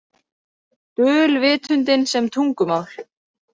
Dulvitundin sem tungumál